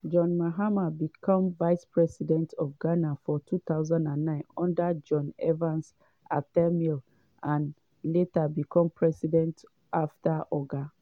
john mahama become vice president of ghana for 2009 under john evans atta mills and later become president afta oga